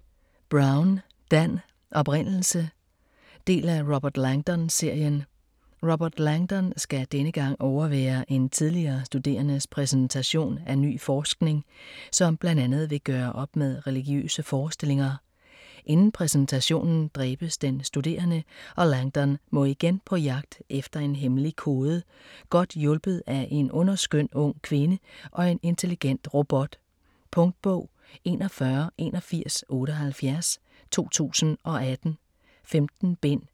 Brown, Dan: Oprindelse Del af Robert Langdon-serien. Robert Langdon skal denne gang overvære en tidligere studerendes præsentation af ny forskning, som bl.a. vil gøre op med religiøse forestillinger. Inden præsentationen dræbes den studerende, og Langdon må igen på jegt efter en hemmelig kode godt hjulpet af en underskøn ung kvinde og en intelligent robot. Punktbog 418178 2018. 15 bind.